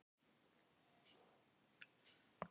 Klöppum fyrir köttum okkar!